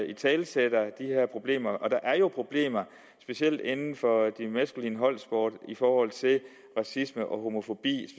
italesætter de her problemer og der er jo problemer specielt inden for de maskuline holdsporter i forhold til racisme og homofobi